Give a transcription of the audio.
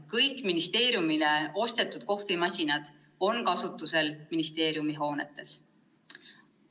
Kõik ministeeriumile ostetud kohvimasinad on kasutusel ministeeriumi hoonetes.